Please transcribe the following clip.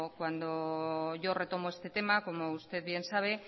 cuando yo retomo este tema como usted bien sabe